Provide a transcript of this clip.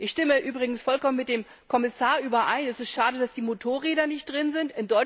Ich stimme übrigens vollkommen mit dem Kommissar überein Es ist schade, dass die Motorräder nicht drin sind.